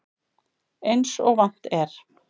Eins og vant er.